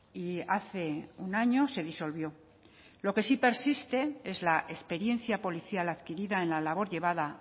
y hace un año se disolvió lo que sí persiste es la experiencia policial adquirida en la labor llevada